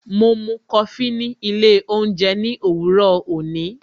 Mo mú Kofi ni ilé oúnjẹ ní òwúrò òní